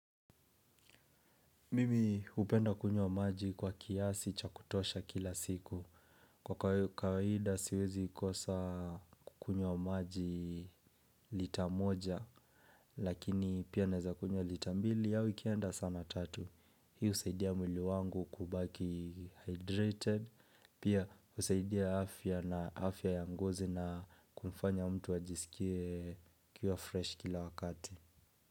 Mimi hupenda kunywa maji kwa kiasi chakutosha kila siku. Kwa kaida siwezi kosa kukunywa maji lita moja lakini pia naweza kunywa lita mbili au ikienda sana tatu. Hii husaidia mwili wangu kubaki hydrated. Pia husaidia afya na afya ya ngozi na kumfanya mtu ajisikie akia fresh kila wakati.